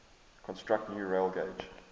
construct new railgauge